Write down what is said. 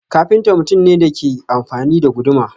Kafinta mutum ne da ke amfani da guduma.